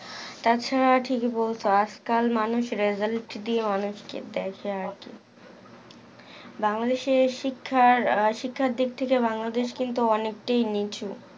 তা ছাড়া ঠিক বলছস আজ কাল মানুষ result দিয়ে অনেক কে দেখে আরকি বাংলাদেশে শিক্ষার আহ শিক্ষার দিক থেকে বাংলাদেশ কিন্তু অনেকটাই নিচু